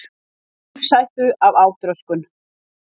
Í lífshættu af átröskun